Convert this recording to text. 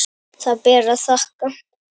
Það ber að þakka.